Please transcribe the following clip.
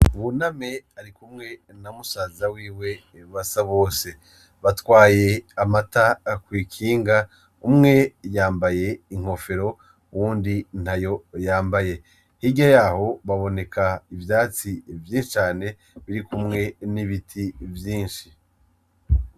Buname arikumwe n'amusazawiwe basabose batwaye amata kw'ikinga umwe yambaye inkofero uw’undi ntayo yambaye hirya yaho haboneka ivyatsi vyinshi cane birikumwe n'ibiti vyinshi.